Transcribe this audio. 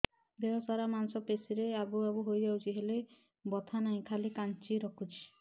ଦେହ ସାରା ମାଂସ ପେଷି ରେ ଆବୁ ଆବୁ ହୋଇଯାଇଛି ହେଲେ ବଥା ନାହିଁ ଖାଲି କାଞ୍ଚି ରଖୁଛି